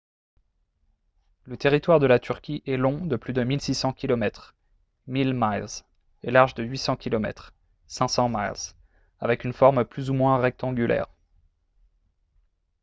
le territoire de la turquie est long de plus de 1600 kilomètres 1000 miles et large de 800 kilomètres 500 miles avec une forme plus ou moins rectangulaire